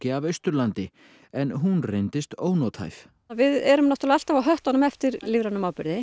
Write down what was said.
af Austurlandi en hún reyndist ónothæf við erum náttúrlega alltaf á höttunum á eftir lífrænum áburði